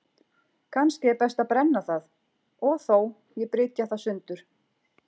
Kannski er best að brenna það, og þó, ég brytja það sundur.